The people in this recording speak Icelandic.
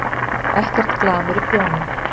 Ekkert glamur í prjónum.